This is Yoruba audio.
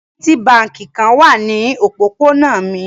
Fidelity Báńkì kan wà ní òpópónà mi.